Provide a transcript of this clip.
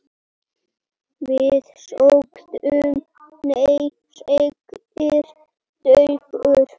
Við sögðum nei, segir Dagur.